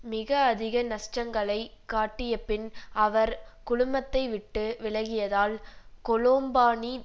மிக அதிக நஷ்டங்களை காட்டியபின் அவர் குழுமத்தை விட்டு விலகியதால் கொலோம்பானி